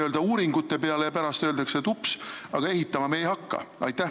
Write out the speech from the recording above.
Tehakse uuringud, aga pärast öeldakse, et ups, ehitama me ikkagi ei hakka.